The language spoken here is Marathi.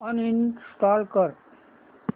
अनइंस्टॉल कर